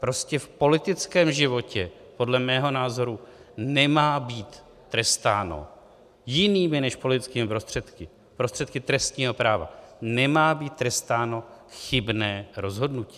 Prostě v politickém životě podle mého názoru nemá být trestáno jinými než politickými prostředky, prostředky trestního práva nemá být trestáno chybné rozhodnutí.